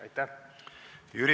Aitäh!